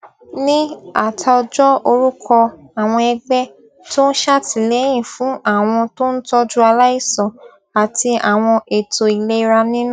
ní àtòjọ orúkọ àwọn ẹgbẹ tó ń ṣàtìlẹyìn fún àwọn tó ń tójú aláìsàn àti àwọn ètò ìlera nínú